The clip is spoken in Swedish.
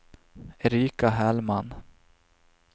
Erika Hellman